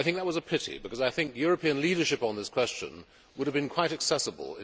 I think that was a pity, because European leadership on this question would have been quite accessible.